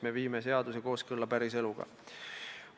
Nii viime seaduse kooskõlla päriseluga.